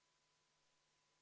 Istungi lõpp kell 12.59.